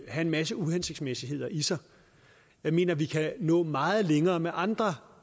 have en masse uhensigtsmæssigheder i sig jeg mener vi kan nå meget længere med andre